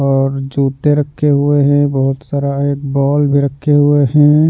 और जूते रखे हुए हैं बहुत सारा एक बॉल भी रखे हुए हैं।